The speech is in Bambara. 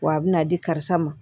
Wa a bɛna di karisa ma